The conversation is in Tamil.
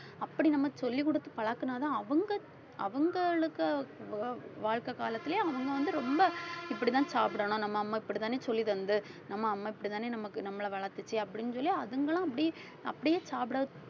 அப்படி நம்ம சொல்லிக்குடுத்து பழக்குனாதான் அவுங்க அவுங்களுக்கு வ~ வாழ்க்கை காலத்திலேயே அவங்க வந்து ரொம்ப இப்படித்தான் சாப்பிடணும் நம்ம அம்மா இப்படித்தானே சொல்லித்தந்து நம்ம அம்மா இப்படித்தானே நமக்கு நம்மளை வளர்த்துச்சு அப்படின்னு சொல்லி அதுங்களும் அப்படியே அப்படியே சாப்பிடது